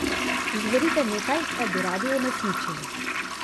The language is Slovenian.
Izberite nekaj, kar bi radi uresničili.